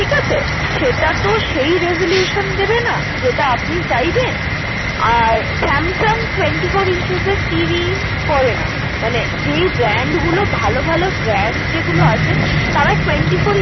ঠিকাছে সেটা তো সেই resolution দেবে না যেটা আপনি চাইবেন আর Samsung twenty-four inches TV করে না মানে যেই brand গুলো ভালো ভালো brand যেগুলো আছে তারা twenty-four